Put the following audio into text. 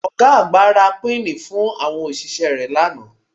Ọ̀ga àgbà ra píìnì fún àwọn òṣìṣẹ́ rẹ̀ lánàá